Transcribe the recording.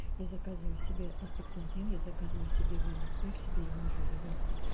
я заказываю себе астаксантин я заказываю себе вэлнэс пэк себе и мужу и ребёнку